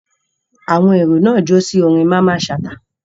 Àwọn èrò náà jó sí orin Mamman Shata.